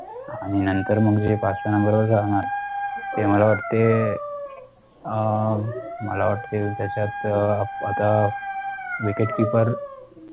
आणि नंतर मग पाचव्या NUMBER वरच राहणार ते मला वाटते, अं मला वाटते, त्याच्यात आता, wicket keeper